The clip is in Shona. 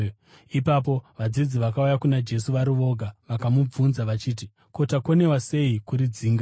Ipapo vadzidzi vakauya kuna Jesu vari voga vakamubvunza vachiti, “Ko, takundikana sei kuridzinga?”